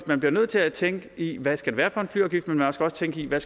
man bliver nødt til at tænke i hvad det skal være for en flyafgift og man skal også tænke i hvad